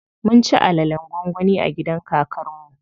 Mun ci alalen gwangwani a gidan kakar mu.